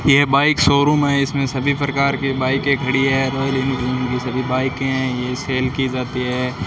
ये bike showroom है इसमें सभी प्रकार की बाईकें खड़ी है रॉयल एनफील्ड की सभी बाइके हैं ये सेल की जाती है।